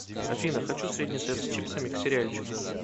афина хочу средний сет с чипсами к сериальчику